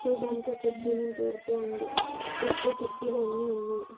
చుడ్డానికి ఒక cement road తో ఉంది చుట్టూ కిటికీలు అన్నీ ఉన్నాయ్.